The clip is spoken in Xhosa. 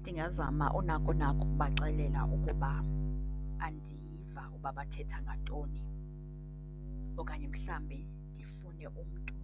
Ndingazama unakonako ukubaxelela ukuba andiyiva uba bathetha ngantoni okanye mhlambe ndifune umntu